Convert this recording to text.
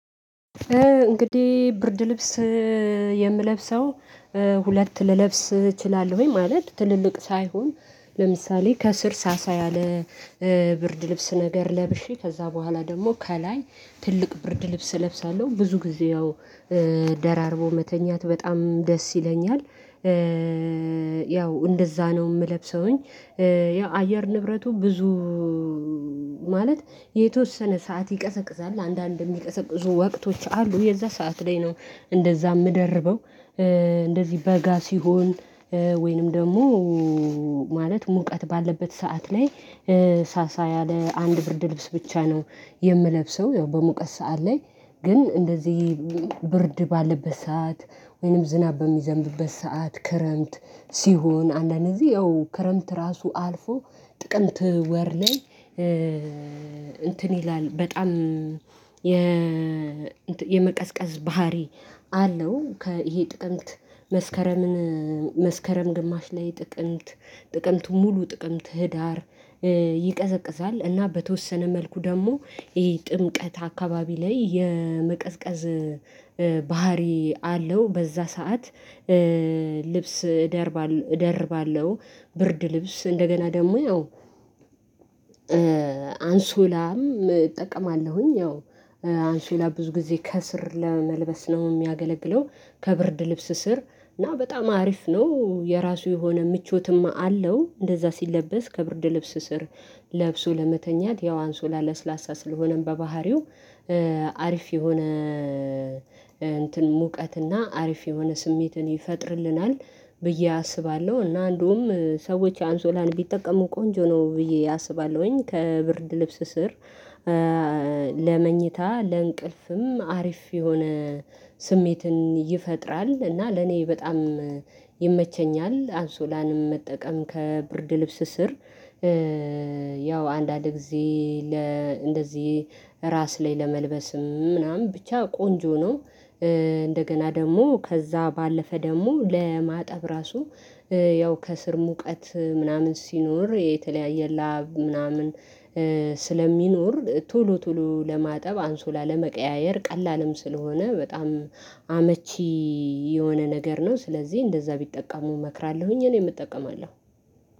እንግዲህ ብርድ ልብስ የምለብሰው ሁለት ልለብስ እችላለሁ ወይ ማለት ትልልቅ ሳይሆን ለምሳሌ ከስር ሳሳ ያለ ብርድ ልብስ ነገር ለብሼ ከዛ በኋላ ደግሞ ከላይ ትልቅ ብርድ ልብስ እለብሳለሁ ብዙ ጊዜ ያው ደራርቦ መተኛት በጣም ደስ ይለኛል። ያው እንደዛ ነው የምለብሰውኝ። ያው አየር ንብረቱ ብዙ ማለት የተወሰነ ሰዓት ይቀዘቅዛል አንዳንድ የሚቀዘቅዙ ወቅቶች አሉ የዛን ሰዓት ላይ ነው። እንደዛ የምደርበው እንደዚህ በጋ ሲሆን ወይንም ደግሞ ማለት ሙቀት ባለበት ሰዓት ላይ ሳሳ ያለ አንድ ብርድ ልብስ ብቻ ነው። የምለብሰው ያው በሙቀት ሰዓት ላይ ግን እንደዚህ ብርድ ባለበት ሰዓት ወይንም ዝናብ በሚዘምብበት ሰዓት ክረምት ሲሆን አንዳንዴ ጊዜ ያው ክረምት ራሱ አልፎ ጥቅምት ወር ላይ እንትን ይላል በጣም የ የመቀዝቀዝ ባህሪ አለው። ይሄ ጥቅምት መስከረምን መስከረም ግማሽ ላይ ጥቅምት ጥቅምቱ ሙሉ ጥቅምት ህዳር ይቀዘቅዛል እና በተወሰነ መልኩ ደግሞ ይሄ ጥምቀት አካባቢ ላይ የመቀዝቀዝ ባህሪ አለው። በዛ ሰዓት ልብስ እደርባለሁ ብርድ ልብስ እንደገና ደግሞ አዎ ያው አንሶላም እጠቀማለሁኝ። ያው አንሶላ ብዙ ጊዜ ከስር ለመልበስ ነው የሚያገለግለው ከብርድ ልብስ ስር እና በጣም አሪፍ ነው የራሱ የሆነ ምቾትም አለው። እንደዛ ሲለበስ ከብርድ ልብስ ስር ለብሶ ለመተኛት ያው አንሶላ ለስላሳ ስለሆነም በባህሪው አሪፍ የሆነ እንትን ሙቀትና አሪፍ የሆነ ስሜትን ይፈጥርልናል ብዬ አስባለሁ። እና እንደውም ሰዎች አንሶላን ቢጠቀሙ ቆንጆ ነው ብዬ አስባለሁኝ። ከብርድ ልብስ ስር ለመኝታ ለእንቅልፍም አሪፍ የሆነ ስሜትን ይፈጥራል እና ለኔ በጣም ይመቸኛል። አንሶላንም መጠቀም ከብርድ ልብስ ስር ያው አንዳንድ ጊዜ ለ እንደዚህ ራስ ላይ ለመልበስም ምናምን ብቻ ቆንጆ ነው። እንደገና ደግሞ ከዛ ባለፈ ደግሞ ለማጠብ ራሱ ያው ከስር ሙቀት ምናምን ሲኖር የተለያየ ላብ ምናምን ስለሚኖር ቶሎ ቶሎ ለማጠብ አንሶላ ለመቀያየር ቀላልም ስለሆነ በጣም አመቺ የሆነ ነገር ነው። ስለዚህ እንደዛ ቢጠቀሙ እመክራለሁኝ እኔም እጠቀማለሁ